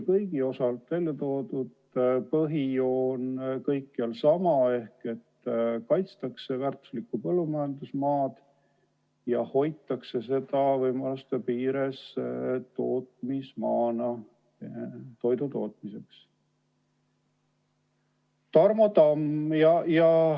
Põhijoon on kõikjal sama: kaitstakse väärtuslikku põllumajandusmaad ja hoitakse seda võimaluste piires tootmismaana toidu tootmiseks.